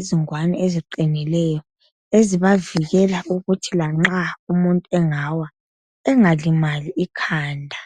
izingwane eziqinileyo ezibavikela ukuthi lanxa umuntu engawa engalimali ikhanda